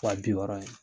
Wa bi wɔɔrɔ in